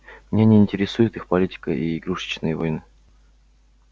меня не интересует их политика и игрушечные войны